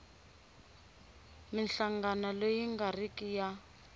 minhlangano leyi nga riki ya